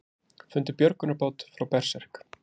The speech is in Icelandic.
Fundu björgunarbát frá Berserk